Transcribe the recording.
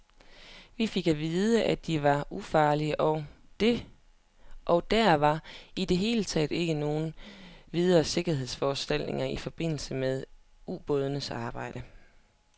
Vi fik at vide, at de var ufarlige, og der var i det hele taget ikke nogen videre sikkerhedsforanstaltninger i forbindelse med ubådens arbejde.